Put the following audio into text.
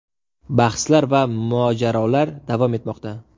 Bahslar va mojarolar davom etmoqda.